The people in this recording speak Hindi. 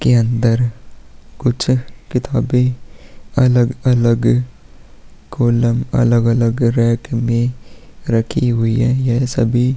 के अंदर कुछ अ किताबें अलग-अलग कॉलम अलग-अलग रैक में रखी हुई है। यह सभी--